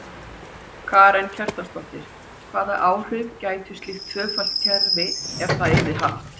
Karen Kjartansdóttir: Hvaða áhrif gæti slíkt tvöfalt kerfi ef það yrði haft?